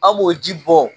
An b'o ji bɔn